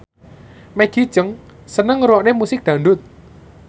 Maggie Cheung seneng ngrungokne musik dangdut